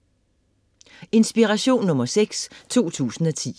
Inspiration nr. 6 2010